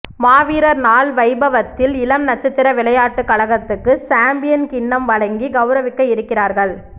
மாவீரர் ுநாள் வைபவத்தி ல் இளம் நட்சத்திர விளையாட்டுக் கழகத்துக்கு சம்பியன் கிண்ணம் வழங்கி கௌரவிக்க இருக்கிறார்கள்